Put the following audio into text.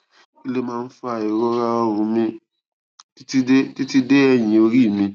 kí ló ń fa ìrora ọrùn mi titi de titi de eyin ori mi